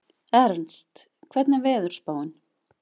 Ernst, hvernig er veðurspáin?